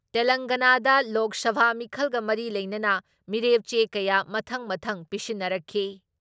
ꯇꯦꯂꯪꯒꯥꯅꯥꯗ ꯂꯣꯛ ꯁꯚꯥ ꯃꯤꯈꯜꯒ ꯃꯔꯤ ꯂꯩꯅꯅ ꯃꯤꯔꯦꯞ ꯆꯦ ꯀꯌꯥ ꯃꯊꯪ ꯃꯊꯪ ꯄꯤꯁꯤꯟꯅꯔꯛꯈꯤ ꯫